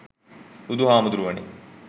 බුදු හාමුදුරුවනේ